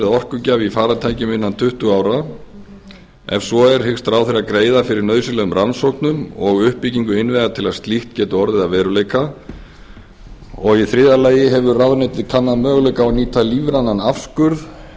orkugjafi í farartækjum innan tuttugu ára ef svo er hyggst ráðherra greiða fyrir nauðsynlegum rannsóknum og uppbyggingu innviða til að slíkt geti orðið að veruleika þriðji hefur ráðuneytið kannað möguleika